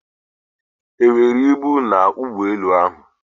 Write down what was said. ha e nwere ibu na ụgbọelu ahụ?